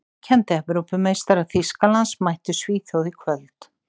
Ríkjandi Evrópumeistarar Þýskalands mættu Svíþjóð í kvöld.